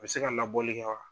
A bɛ se ka labɔli kɛ wa?